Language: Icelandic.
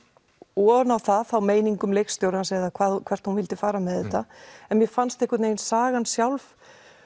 ofan á það meiningum leikstjórans eða hvert hún vildi fara með þetta en mér fannst einhvern veginn sagan sjálf